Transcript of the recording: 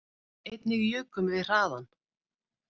Einnig jukum við hraðann